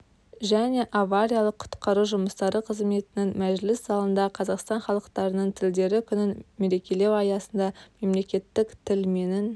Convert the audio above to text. және авариялық-құтқару жұмыстары қызметінің мәжіліс залында қазақстан халықтарының тілдері күнін мерекелеу аясында мемлекеттік тіл менің